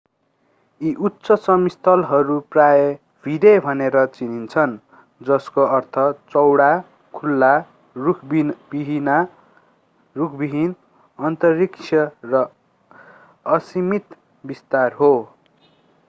यी उच्च समस्थलीहरू प्राय भिडे भनेर चिनिन्छन् जसको अर्थ चौडा खुला रुखविहीन अन्तरिक्ष र असीमित विस्तार हो